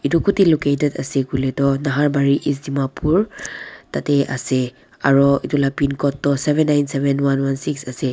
itu kuteh located ase kuiletu naharbari east dimapur tateh ase aro la pincode toh seven nine seven one one six ase.